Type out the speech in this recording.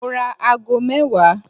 Mo ra ago mẹ́wàá.